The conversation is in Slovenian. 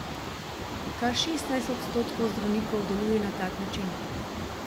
Kar šestnajst odstotkov zdravnikov deluje na tak način.